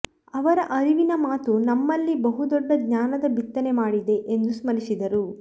ಅವರ ಅರಿವಿನ ಮಾತು ನಮ್ಮಲ್ಲಿ ಬಹುದೊಡ್ಡ ಜ್ಞಾನದ ಬಿತ್ತನೆ ಮಾಡಿದೆ ಎಂದು ಸ್ಮರಿಸಿದರು